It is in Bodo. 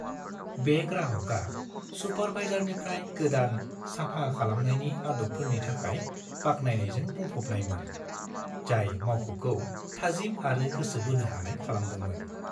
बे ग्राहकआ सुपारभाइजारनिफ्राय गोदान साफा खालामनायनि आदबफोरनि थाखाय बाख्नायनायजों बुंफबनायमोन, जाय मावख'खौ थाजिम आरो गोसो बोनो हानाय खालामदोंमोन।